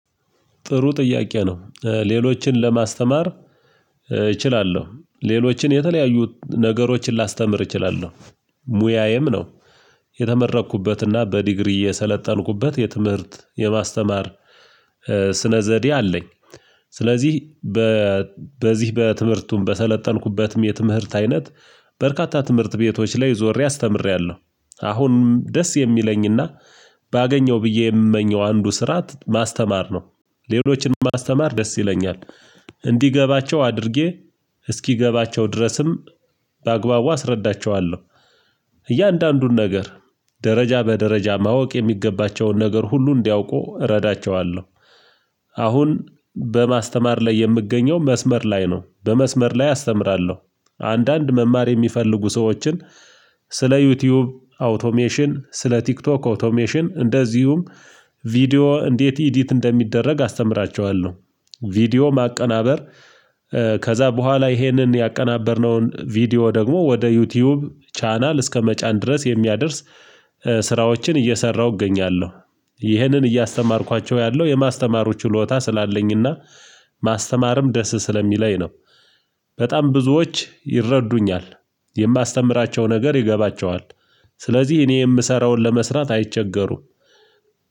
ጥሩ ጥያቄ ነው ሌሎችን ለማስተማር እችላለሁ ሌሎችን የተለያዩ ነገሮችን ላስተምር እችላለሁ ሙያዬም ነው። የተመረኩበትና በዲግሪ የሰለጠንኩበት የትምህርት የማስተማር ስነ ዘዴ አለኝ። ስለዚህ። በዚህ በትምህርቱን በሰለጠንኩበትም የትምህርት አይነት በርካታ ትምህርት ቤቶች ላይ ዞሬ አስተምሬያለሁ። አሁን ደስ የሚለኝና ባገኘው ብዬ የምመኘው አንዱ ስራ ማስተማር ነው። ሌሎችንም ማስተማር ደስ ይለኛል። እንዲገባቸው አድርጌ እስኪገባቸው ድረስም በአግባቡ አስረዳቸዋለሁ። እያንዳንዱን ነገር ደረጃ በደረጃ ማወቅ የሚገባቸውን ነገር ሁሉ እንዲያውቁ እረዳቸዋለሁ። አሁን በማስተማር ላይ የምገኘው መስመር ላይ ነው። በመስመር ላይ አስተምራለሁ። አንዳንድ መማር እሚፈልጉ ሰዎችን ስለ ዩቲዩብ አውቶሜሽን ስለ ቲክቶክ አውቶሜሽን እንደዚሁም ቪዲዮ እንዴት ኢዲት እንደሚደረግ አስተምራቸዋለሁ። ቪዲዮ ማቀናበር ከዛ በኋላ ይሄንን ያቀናበርነውን ቪዲዮ ደግሞ ወደ ዩቲዩብ ቻናል እስከመጫን ድረስ የሚያደርስ ስራዎችን እየሰራሁ እገኛለሁ። ይህንን እያስተማርኳቸው ያለው የማስተማሩ ችሎታ ስላለኝና ማስተማርም ደስ ስለሚለኝ ነው። በጣም ብዙዎች ይረዱኛል። የማስተምራቸው ነገር ይገባቸዋል። ስለዚህ እኔ እምሰራውን ለመስራት አይቸገሩም